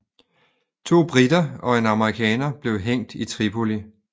To briter og en amerikaner blev hængt i Tripoli